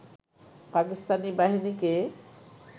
পাকিস্তানি বাহিনীকে